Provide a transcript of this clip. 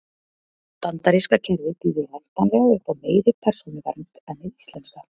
Bandaríska kerfið býður væntanlega upp á meiri persónuvernd en hið íslenska.